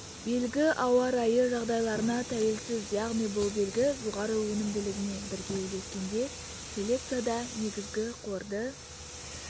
белгі ауа райы жағдайларына тәуелсіз яғни бұл белгі жоғары өнімділігімен бірге үйлескенде селекцияда негізгі қорды